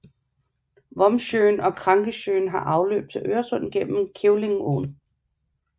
Vombsjön og Krankesjön har afløb til Øresund gennem Kävlingeån